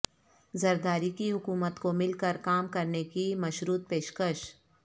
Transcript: زرداری کی حکومت کو مل کر کام کرنے کی مشروط پیشکش